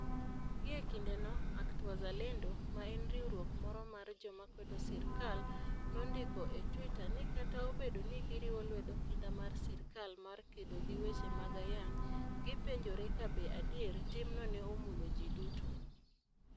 Gie kindeno, ACT-Wazalendo, ma en riwruok moro mar joma kwedo sirkal, nondiko e Twitter ni kata obedo ni giriwo lwedo kinda mar sirkal mar kedo gi weche mag ayany, gipenjore kabe adier timno ne omulo ji duto.